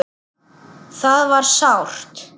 Það var sárt.